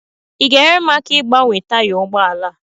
Ị ga-enyere m aka ịgbanwe taya ụgbọ ala a?